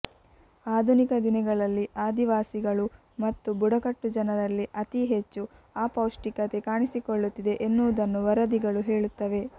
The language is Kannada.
ಆಧುನಿಕ ದಿನಗಳಲ್ಲಿ ಆದಿವಾಸಿಗಳು ಮತ್ತು ಬುಡಕಟ್ಟು ಜನರಲ್ಲಿ ಅತೀ ಹೆಚ್ಚು ಅಪೌಷ್ಟಿಕತೆ ಕಾಣಿಸಿಕೊಳ್ಳುತ್ತಿದೆ ಎನ್ನುವುದನ್ನು ವರದಿಗಳು ಹೇಳುತ್ತವೆ